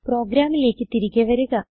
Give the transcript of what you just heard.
പ്രോഗ്രാമിലേക്ക് തിരികെ വരുക